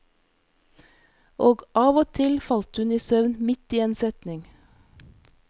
Og av og til falt hun i søvn midt i en setning.